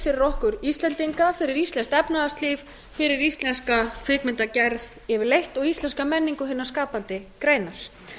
fyrir okkur íslendinga fyrir íslenskt efnahagslíf fyrir íslenska kvikmyndagerð yfirleitt og íslenska menningu hinnar skapandi greinar